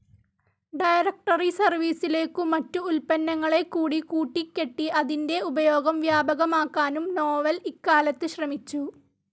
Directory സർവീസിലേക്കു മറ്റു ഉത്പന്നങ്ങളെക്കൂടി കൂട്ടിക്കെട്ടി അതിൻ്റെ ഉപയോഗം വ്യാപകമാക്കാനും നോവൽ ഇക്കാലത്തു ശ്രമിച്ചു.